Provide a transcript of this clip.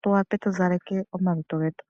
tu wape tu zaleke omalutu getu.